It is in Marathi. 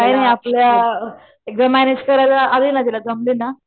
काय नाही आपल्या मॅनेज कराय आली ना तुला जमली ना